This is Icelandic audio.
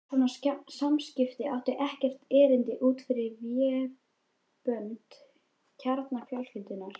Svona samskipti áttu ekkert erindi út fyrir vébönd kjarnafjölskyldunnar.